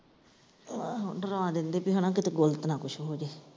ਆਹੋ ਡਰਾ ਦਿੰਦੇ ਕਿ ਹਨਾ ਕਿ ਕਿਤੇ ਗਲਤ ਨਾ ਕੁਛ ਹੋ ਜਏ।